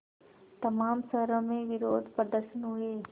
तमाम शहरों में विरोधप्रदर्शन हुए